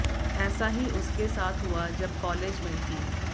ऐसा ही उसके साथ हुआ जब कालेज में थी